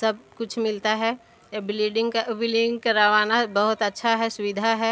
सब कुछ मिलता हैं ए ब्लीडिंग का बिलिंग करवाना बहुत अच्छा हैं सुविधा हैं।